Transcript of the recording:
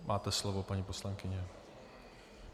Máte slovo, paní poslankyně.